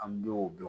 An bɛ o dɔn